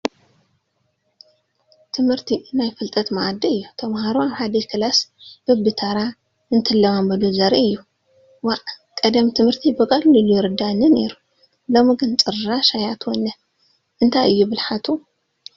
ትምርቲ ናይ ፍልጠት ማኣዲ እዩ፡፡ ተምሃሮ ኣብ ሓደ ክፍሊ በብታራ እንትለማመዱ ዘርኢ እዩ፡፡ ዋእ...ቀደም ት/ቲ ብቐሊሉ ይርዳኣኒ ነይሩ ሎሚ ግን ጭራሽ ኣይኣትወንን እንታይ እዩ ብልሓቱ....